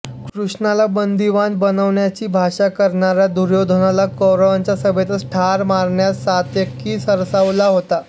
कृष्णाला बंदीवान बनवण्याची भाषा करणाऱ्या दुर्योधनाला कौरवांच्या सभेतच ठार मारण्यास सात्यकी सरसावला होता